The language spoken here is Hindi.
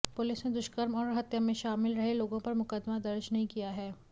पुलिस ने दुष्कर्म और हत्या में शामिल रहे लोगों पर मुकदमा दर्ज नहीं किया है